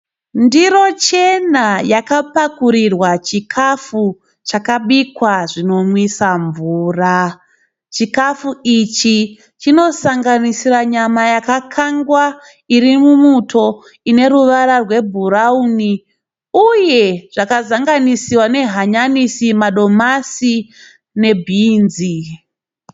Ndiro chena yakapakurirwa chikafu chakabikwa chinomiswa mvura. chikafu ichi chinosanganisira nyama yakakangwa iri mumuto ine ruvara rwebhurauni uye zvakazanganisira nehanyanisi, madomasi nebhinzi.